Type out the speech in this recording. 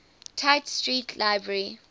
tite street library